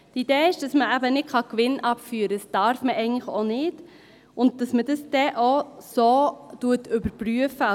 Die Idee ist, dass man eben keinen Gewinn abführen kann – dies darf man eigentlich auch nicht –, und dass man dies dann so überprüft.